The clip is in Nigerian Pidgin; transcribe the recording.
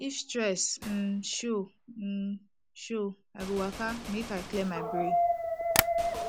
if stress um show um show i go waka make i clear my brain